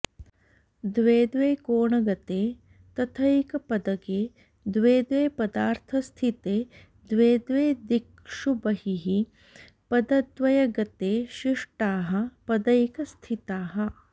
द्वे द्वे कोणगते तथैकपदगे द्वे द्वे पदार्थस्थिते द्वे द्वे दिक्षु बहिः पदद्वयगते शिष्टाः पदैकस्थिताः